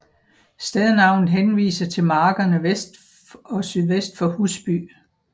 Stednavnet henviser til markerne vest og sydvest for Husby